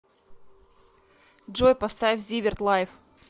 джой поставь зиверт лайф